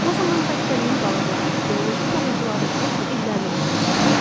o zaman xəstəliyin qalıqları və bioloji pozuntuları nə üçün illərlə orda mövcud olur?